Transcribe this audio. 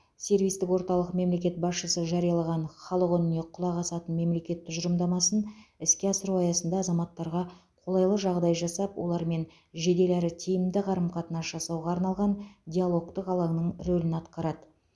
сервистік орталық мемлекет басшысы жариялаған халық үніне құлақ асатын мемлекет тұжырымдамасын іске асыру аясында азаматтарға қолайлы жағдай жасап олармен жедел әрі тиімді қарым қатынас жасауға арналған диалогтық алаңның рөлін атқарады